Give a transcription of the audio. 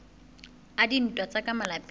a dintwa tsa ka malapeng